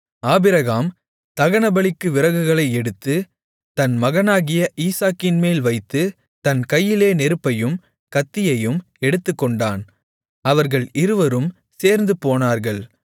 Abraham தகனபலிக்கு விறகுகளை எடுத்து தன் மகனாகிய ஈசாக்கின்மேல் வைத்து தன் கையிலே நெருப்பையும் கத்தியையும் எடுத்துக்கொண்டான் அவர்கள் இருவரும் சேர்ந்துபோனார்கள்